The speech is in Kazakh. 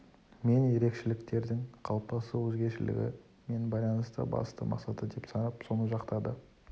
мен ерекшеліктердің қалыптасу өзгешілігі мен байланысты басты мақсаты деп санап соны жақтады